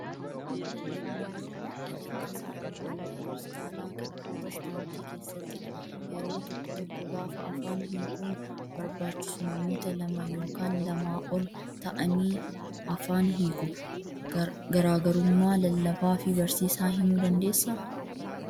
Lallabni yeroo baay'ee kan taasifamu waldaa kiristaanaa kan pirootestaantii keessattidha. Yeroo tokko tokko gaafa afaan hiikuun barbaachisu namoota lama yookaan lamaa ol ta'anii afaan hiiku. Garaagarummaa lallabaa fi barsiisaa himuu dandeessaa?